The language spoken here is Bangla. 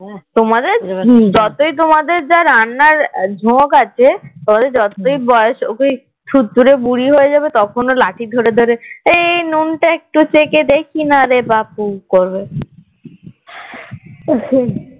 থুর থুড়ে বুড়ি হয়ে যাবে তখনও লাঠি ধরে ধরে এই নুন টা একটু চেখে দেখি না রে বাপু করবে